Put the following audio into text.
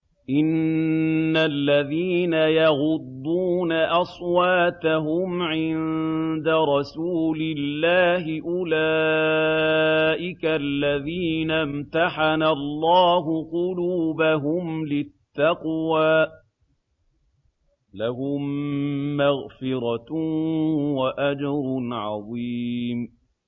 إِنَّ الَّذِينَ يَغُضُّونَ أَصْوَاتَهُمْ عِندَ رَسُولِ اللَّهِ أُولَٰئِكَ الَّذِينَ امْتَحَنَ اللَّهُ قُلُوبَهُمْ لِلتَّقْوَىٰ ۚ لَهُم مَّغْفِرَةٌ وَأَجْرٌ عَظِيمٌ